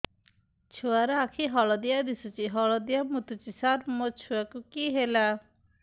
ଛୁଆ ର ଆଖି ହଳଦିଆ ଦିଶୁଛି ହଳଦିଆ ମୁତୁଛି ସାର ମୋ ଛୁଆକୁ କି ହେଲା